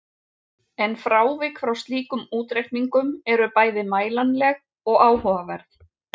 En frávik frá slíkum útreikningum eru bæði mælanleg og áhugaverð.